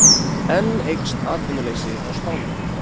Enn eykst atvinnuleysi á Spáni